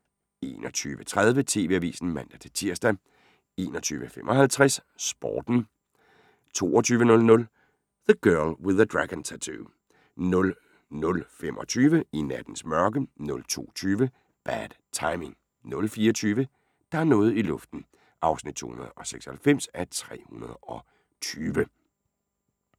21:30: TV-avisen (man-tir) 21:55: Sporten 22:00: The Girl With the Dragon Tattoo 00:25: I nattens mørke 02:20: Bad Timing 04:20: Der er noget i luften (296:320)